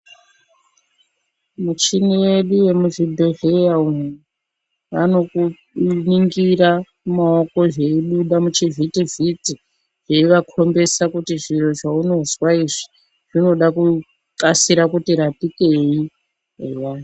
Muchini yedu yemuzvibhedhleya umu vanokuningira mumaoko zveibuda muchivhiti veivakhombesa kuti zviro zvaunozwa izvi zvinoda kukasira kuti rapikei eya.